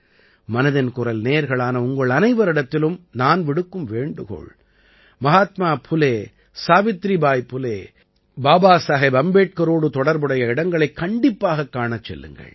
மனதின் குரல் நேயர்களான உங்கள் அனைவரிடத்திலும் நான் விடுக்கும் வேண்டுகோள் மஹாத்மா புலே சாவித்ரிபாய் புலே பாபாசாஹேப் அம்பேட்கரோடு தொடர்புடைய இடங்களைக் கண்டிப்பாகக் காணச் செல்லுங்கள்